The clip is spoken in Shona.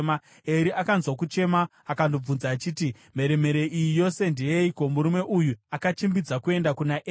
Eri akanzwa kuchema akandobvunza achiti, “Mheremhere iyi yose ndeyeiko?” Murume uyu akachimbidza kuenda kuna Eri,